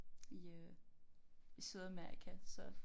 I øh i Sydamerika så